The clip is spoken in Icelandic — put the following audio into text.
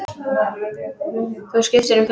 Þú skiptir um filmu!